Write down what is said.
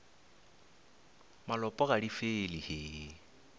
malopo ga di fele he